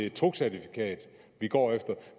et togcertifikat vi går efter